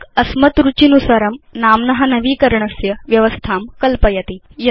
काल्क अस्मत् रुचिनुसारं नाम्न नवीकरणस्य व्यवस्थां कल्पयति